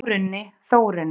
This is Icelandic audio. Jórunni, Þórunni,